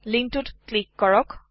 লিংকটোত click কৰক